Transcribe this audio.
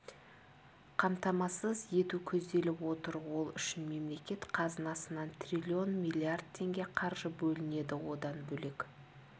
қамтамасыз ету көзделіп отыр ол үшін мемлекет қазынасынан трлн миллиард теңге қаржы бөлінеді одан бөлек